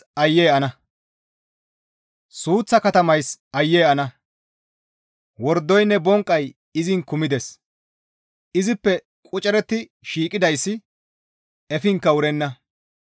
Suuththa katamays aayye ana; wordoynne bonqqay izin kumides; izippe qociretti shiiqidayssi efinkka wurenna.